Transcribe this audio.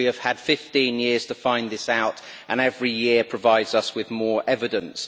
We have had 15 years to find this out and every year provides us with more evidence.